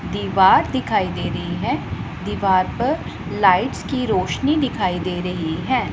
दीवार दिखाई दे रही है दीवार पर लाइट्स की रोशनी दिखाई दे रही है।